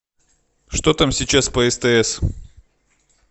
что там сейчас по стс